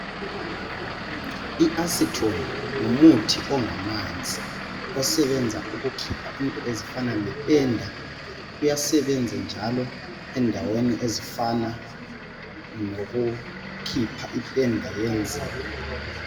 in Acetone ngumuthi ongamanzi osebenza ukukhipha into ezifana le penda uyasebenza njalo endaweni ezifana lokukhipha ipenda yenzipho